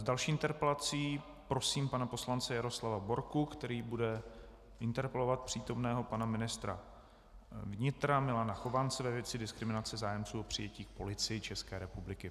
S další interpelací prosím pana poslance Jaroslava Borku, který bude interpelovat přítomného pana ministra vnitra Milana Chovance ve věci diskriminace zájemců o přijetí k Policii České republiky.